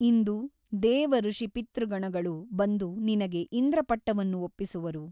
ಇಂದು ದೇವಋಷಿಪಿತೃಗಣಗಳು ಬಂದು ನಿನಗೆ ಇಂದ್ರಪಟ್ಟವನ್ನು ಒಪ್ಪಿಸುವರು.